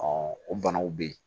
o banaw bɛ yen